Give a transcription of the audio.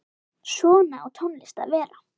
Svona á tónlist að vera.